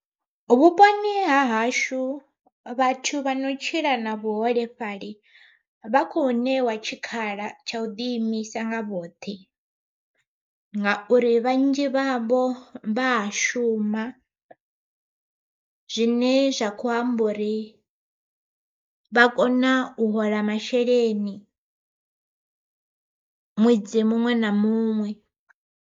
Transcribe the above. Vhuponi ha hashu vhathu vha no tshila na vhuholefhali vha khou ṋewa tshikhala tsha u ḓi imisa nga vhoṱhe, ngauri vhanzhi vha vho vha a shuma. Zwine zwa kho amba uri vha kona u hola masheleni ṅwedzi muṅwe na muṅwe.